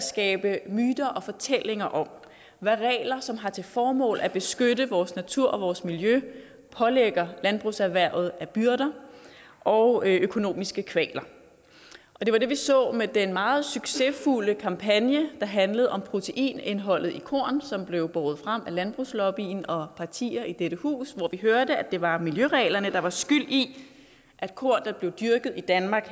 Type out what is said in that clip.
skabe myter og fortællinger om hvad regler som har til formål at beskytte vores natur og vores miljø pålægger landbrugserhvervet af byrder og økonomiske kvaler det var det vi så med den meget succesfulde kampagne der handlede om proteinindholdet i korn som blev båret frem af landbrugslobbyen og partier i dette hus hvor vi hørte at det var miljøreglerne der var skyld i at korn der blev dyrket i danmark